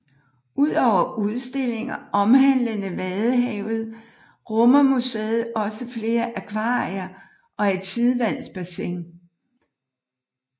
Ud over udstillinger omhandlende vadehavet rummer museet også flere akvarier og et tidevandsbassin